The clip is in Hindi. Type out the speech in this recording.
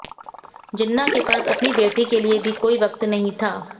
जिन्ना के पास अपनी बेटी के लिए भी कोई वक्त नहीं था